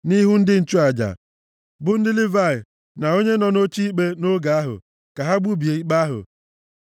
nʼihu ndị nchụaja, bụ ndị Livayị na onye nọ nʼoche ikpe nʼoge ahụ ka ha gbubie ikpe ahụ.